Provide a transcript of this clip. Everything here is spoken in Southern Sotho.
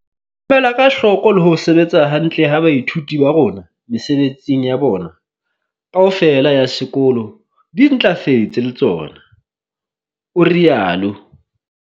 "Mela ka hloko le ho sebetsa hantle ha baithuti ba rona mesebetsing ya bona, kaofela ya sekolo di ntlafetse le tsona," o rialo.